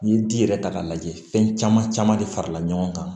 N'i ye ji yɛrɛ ta k'a lajɛ fɛn caman caman de farala ɲɔgɔn kan